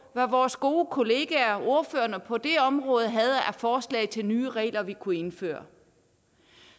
hvad vores gode kollegaer ordførerne på det område havde af forslag til nye regler vi kunne indføre